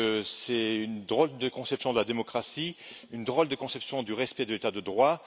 C'est une drôle de conception de la démocratie, une drôle de conception du respect de l'état de droit.